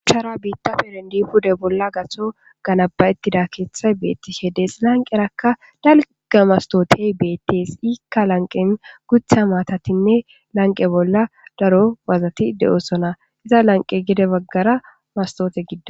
Shuchara biitta perendi pude bolla gatso ganabayettida keeththay beetti hedees lanqerakka dalga mastootey beettes ikka lanqen gutha maatatinne lanqe bolla daro wazati de7osona iza lanqe gede baggara mastoote gida